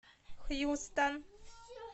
хьюстон